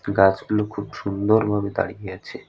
গাছগুলো খুব সুন্দর ভাবে দাঁড়িয়ে আছে।